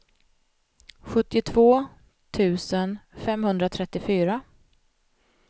sjuttiotvå tusen femhundratrettiofyra